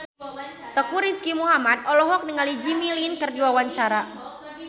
Teuku Rizky Muhammad olohok ningali Jimmy Lin keur diwawancara